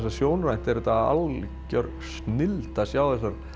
að sjónrænt var þetta algjör snilld að sjá